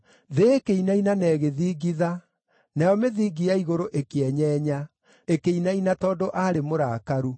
“Thĩ ĩkĩinaina na ĩgĩthingitha; Nayo mĩthingi ya igũrũ ĩkĩenyenya; ĩkĩinaina tondũ aarĩ mũrakaru.